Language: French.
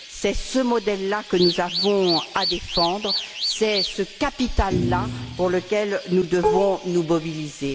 C'est ce modèle là que nous avons à défendre, c'est ce capital là pour lequel nous devons nous mobiliser.